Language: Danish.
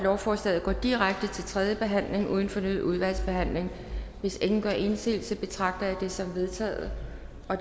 at lovforslaget går direkte til tredje behandling uden fornyet udvalgsbehandling hvis ingen gør indsigelse betragter jeg det som vedtaget